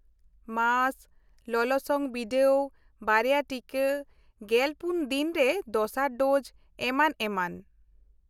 -Mask, ᱞᱚᱞᱚᱥᱚᱝ ᱵᱤᱰᱟᱹᱣ, ᱵᱟᱨᱭᱟ ᱴᱤᱠᱟ, ᱑᱔ ᱫᱤᱱ ᱨᱮ ᱫᱚᱥᱟᱨ ᱰᱳᱡ, ᱮᱢᱟᱱ ᱮᱢᱟᱱ᱾